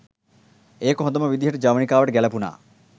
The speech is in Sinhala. ඒක හොඳම විදිහට ජවනිකාවට ගැළපුණා.